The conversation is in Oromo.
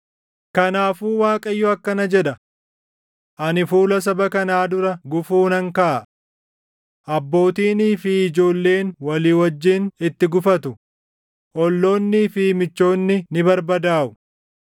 Kanaafuu Waaqayyo akkana jedha: “Ani fuula saba kanaa dura gufuu nan kaaʼa. Abbootiinii fi ijoolleen walii wajjin itti gufatu; olloonnii fi michoonni ni barbadaaʼu.”